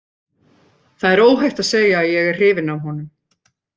Það er óhætt að segja að ég er hrifinn af honum.